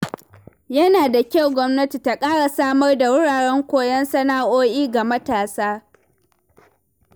Yana da kyau gwamnati ta ƙara samar da wuraren koyon sana’o’i ga matasa.